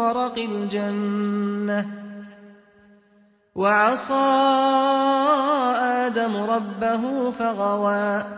وَرَقِ الْجَنَّةِ ۚ وَعَصَىٰ آدَمُ رَبَّهُ فَغَوَىٰ